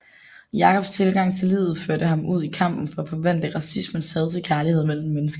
Jacobs tilgang til livet førte ham ud i kampen for at forvandle racismens had til kærlighed mellem mennesker